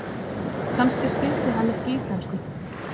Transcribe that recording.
Kannski skildi hann ekki íslensku.